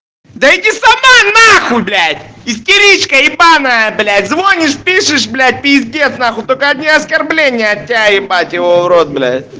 да иди сама нахуй блять истеричка ебанная блять звонишь пишешь блять пиздец нахуй только одни оскорбления от тебя ебать его в рот блять